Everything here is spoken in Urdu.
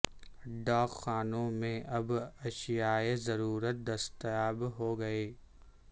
ڈاک خانوں میں اب اشیائے ضرورت دستیاب ہوں گی